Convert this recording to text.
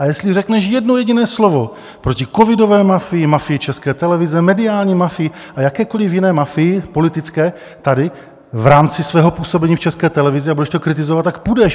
A jestli řekneš jedno jediné slovo proti covidové mafii, mafii České televize, mediální mafii a jakékoliv jiné mafii, politické, tady, v rámci svého působení v České televizi, a budeš to kritizovat, tak půjdeš.